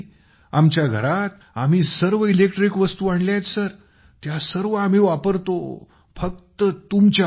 आमच्या घरात आम्ही सर्व इलेक्ट्रिक वस्तू आणल्या आहेत सर त्या सर्व आम्ही वापरतो सर फक्त तुमच्यामुळे